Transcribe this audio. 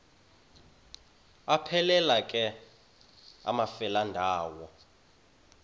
aphelela ke amafelandawonye